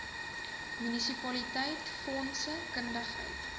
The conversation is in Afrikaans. munisipaliteit fondse kundigheid